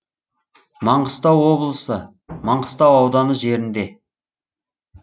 маңғыстау облысы маңғыстау ауданы жерінде